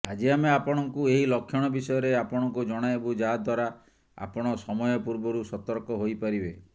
ଆଜି ଆମେ ଆପଣଙ୍କୁ ଏହି ଲକ୍ଷଣ ବିଷୟରେ ଆପଣଙ୍କୁ ଜଣାଇବୁ ଯାହାଦ୍ୱାରା ଆପଣ ସମୟ ପୂର୍ବରୁ ସତର୍କ ହୋଇପାରିବେ